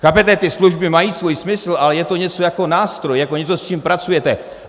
Chápete, ty služby mají svůj smysl, ale je to něco jako nástroj, jako něco, s čím pracujete.